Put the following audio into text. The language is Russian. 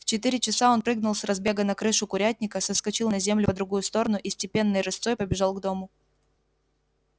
в четыре часа он прыгнул с разбега на крышу курятника соскочил на землю по другую сторону и степенной рысцой побежал к дому